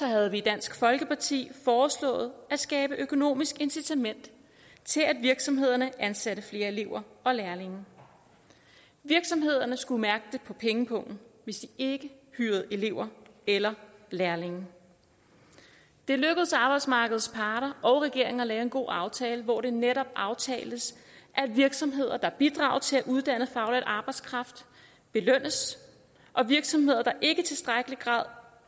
havde vi i dansk folkeparti foreslået at skabe økonomisk incitament til at virksomhederne ansatte flere elever og lærlinge virksomhederne skulle mærke det på pengepungen hvis de ikke hyrede elever eller lærlinge det lykkedes arbejdsmarkedets parter og regeringen at lave en god aftale hvor det netop aftaltes at virksomheder der bidrager til at uddanne faglært arbejdskraft belønnes og virksomheder der ikke i tilstrækkelig grad